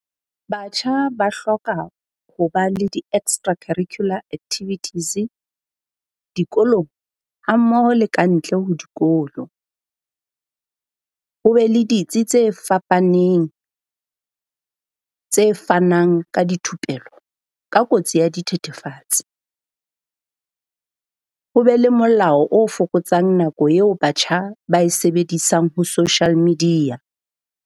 Batjha ba hloka ho ba le di-extra curricular activities dikolong hammoho le ka ntle ho dikolo. Ho be le ditsi tse fapaneng tse fanang ka dithupelo ka kotsi ya dithethefatsi, ho be le molao o fokotsang nako eo batjha ba e sebedisang ho social media.